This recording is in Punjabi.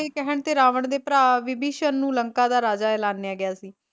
ਦੇ ਕਹਿਣ ਤੇ ਰਾਵਣ ਦੇ ਭਰਾ ਵਿਭੀਸ਼ਨ ਨੂੰ ਲੰਕਾ ਦਾ ਰਾਜਾ ਐਲਾਨਿਆ ਗਿਆ ਸੀ।